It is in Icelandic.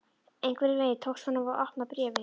Einhvern veginn tókst honum að opna bréfið.